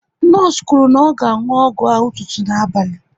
Nọọsụ kwuru na ọ ga anwụ ọgwụ ahụ ụtụtụ na abalị